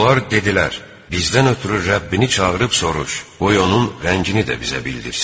Onlar dedilər: "Bizdən ötrü Rəbbini çağırıb soruş, qoy onun rəngini də bizə bildirsin."